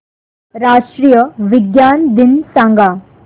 राष्ट्रीय विज्ञान दिन सांगा